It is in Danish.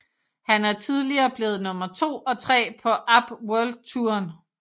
Han er tidligere blevet nummer to og tre på APP World Touren